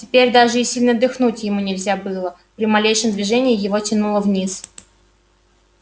теперь даже и сильно дыхнуть ему нельзя было при малейшем движении его тянуло вниз